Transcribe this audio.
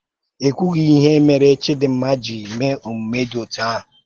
É kwùghì ìhè mèrè Chídìnma jí mèe òmúmè dị otú ahụ̀